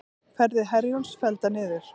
Ferðir Herjólfs felldar niður